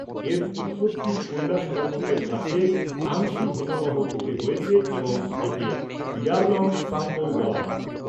এর উৎপত্তি কৈলাশ পর্বতের কাছে আংসি হিমবাহ থেকে হয়েছে এবং একে ইয়ারলং সাংপোও বলা হয়।